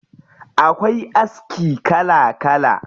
Akwai aski kala kala.